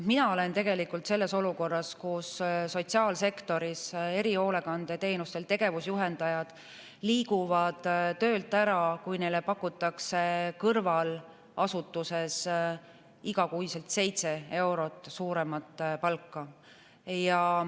Mina olen selles olukorras sotsiaalsektoris erihoolekandeteenustel tegevusjuhendajad liiguvad töölt ära, kui neile pakutakse kõrval asutuses igakuiselt seitse eurot suuremat palka.